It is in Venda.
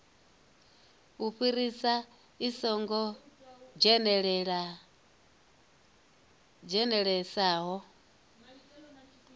u fhirisa i songo dzhenelelesaho